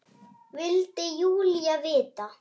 vildi Júlía vita.